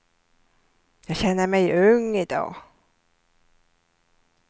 Jag känner mig ung i dag.